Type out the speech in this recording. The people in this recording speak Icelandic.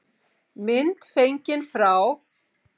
Mynd fengin frá